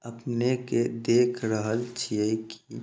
अपने के देख रहल छिये की--